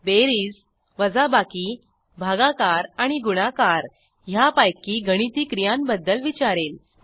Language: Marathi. बेरीज वजाबाकी भागाकार आणि गुणाकार ह्यापैकी गणिती क्रियांबद्दल विचारेल